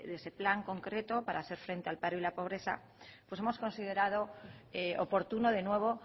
ese plan concreto para hacer frente al paro y a la pobreza pues hemos considerado oportuno de nuevo